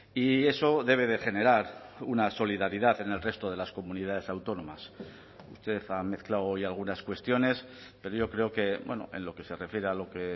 y eso debe de generar una solidaridad en el resto de las comunidades autónomas usted ha mezclado hoy algunas cuestiones pero yo creo que en lo que se refiere a lo que